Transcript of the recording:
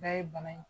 Bɛɛ ye bana in